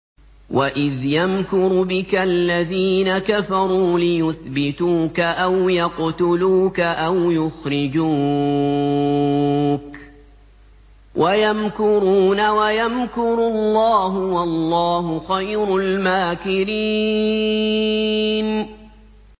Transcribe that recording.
وَإِذْ يَمْكُرُ بِكَ الَّذِينَ كَفَرُوا لِيُثْبِتُوكَ أَوْ يَقْتُلُوكَ أَوْ يُخْرِجُوكَ ۚ وَيَمْكُرُونَ وَيَمْكُرُ اللَّهُ ۖ وَاللَّهُ خَيْرُ الْمَاكِرِينَ